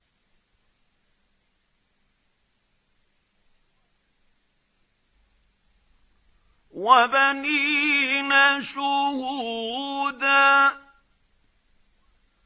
وَبَنِينَ شُهُودًا